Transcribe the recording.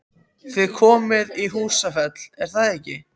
Þið komið í Húsafell, er það ekki?